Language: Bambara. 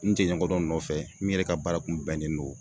N teɲɔgɔn dɔ nɔfɛ min yɛrɛ ka baara kun bɛnnen don